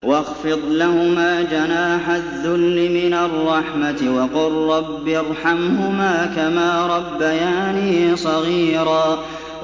وَاخْفِضْ لَهُمَا جَنَاحَ الذُّلِّ مِنَ الرَّحْمَةِ وَقُل رَّبِّ ارْحَمْهُمَا كَمَا رَبَّيَانِي صَغِيرًا